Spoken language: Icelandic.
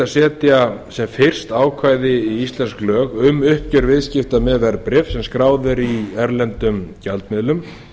setja sem fyrst ákvæði í íslensk lög um uppgjör viðskipta með verðbréf sem skráð eru í erlendum gjaldmiðlum